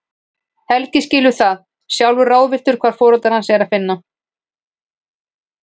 Helgi skilur það, sjálfur ráðvilltur hvar foreldra hans er að finna.